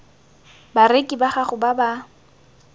bareki ba gago ba ba